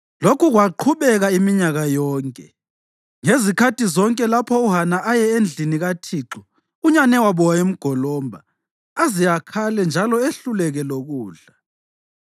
Lokhu kwaqhubeka iminyaka yonke. Ngezikhathi zonke lapho uHana eye endlini kaThixo, unyanewabo wayemgolomba aze akhale njalo ehluleke lokudla.